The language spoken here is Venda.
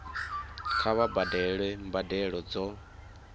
kha vha badele mbadelo dzo